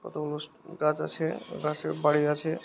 কতগুলো গাছ আছে পাশে বাড়ি আছে।